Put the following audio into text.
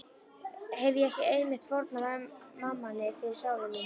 Hefi ég ekki einmitt fórnað mammoni fyrir sálu mína?